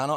Ano.